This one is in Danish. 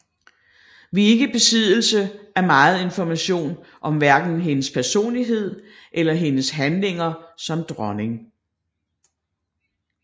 Vi er ikke i besiddelse af megen information om hverken hendes personlighed eller hendes handlinger som dronning